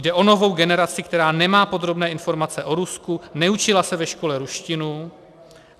Jde o novou generaci, která nemá podrobné informace o Rusku, neučila se ve škole ruštinu.